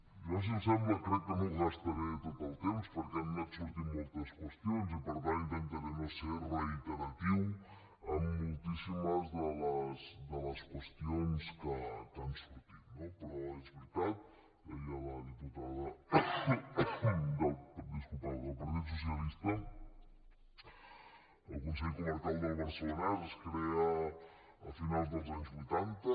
jo si els sembla crec que no gastaré tot el temps perquè han anat sortint moltes qüestions i per tant intentaré no ser reiteratiu en moltíssimes de les qüestions que han sortit no però és veritat ho deia la diputada del partit socialista el consell comarcal del barcelonès es crea a finals dels anys vuitanta